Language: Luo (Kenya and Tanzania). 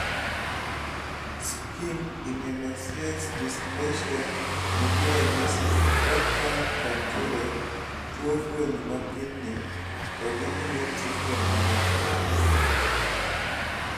schimke immunoosseous dysplasia nigi ranyisi kakatature, tuwo fuoni ma kidney, to gi immune system ma nyap